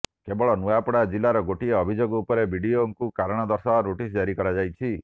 କେବଳ ନୂଆପଡ଼ା ଜିଲ୍ଲାର ଗୋଟିଏ ଅଭିଯୋଗ ଉପରେ ବିଡିଓଙ୍କୁ କାରଣ ଦର୍ଶାଅ ନୋଟିସ୍ ଜାରି କରାଯାଇଛି